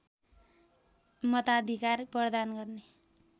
मताधिकार प्रदान गर्ने